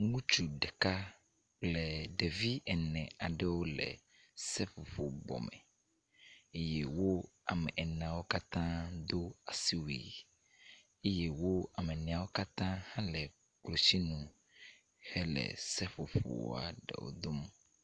Ŋutsu ɖeka le ɖevi ene aɖewo le seƒoƒobɔme eye wo Ame eneawo katã do asiwui eye wo ame eneawo katã le klotsinu hele seƒoƒo aɖewo gbem.